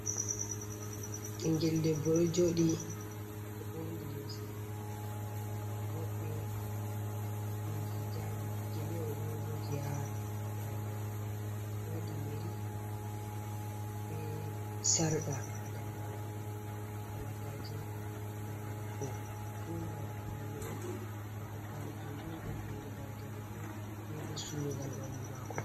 Ɓiingel ɗebbo ɗo jodi oɗo oburni limse bodde be hijabi gele oɗo moji ha daɗe mako wadi yeri be sarka ha daɗe mako halagaje ha koli mako fu ngam paune on nafu paune kanjum beddun go daraja goddo be bo surugal ɓandu mako.